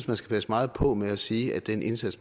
man skal passe meget på med at sige at den indsats